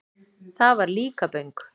Það var Líkaböng.